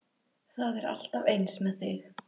Það er alltaf eins með þig!